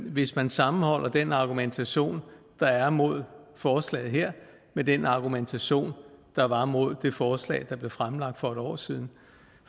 hvis man sammenholder den argumentation der er mod forslaget her med den argumentation der var mod det forslag der blev fremsat for et år siden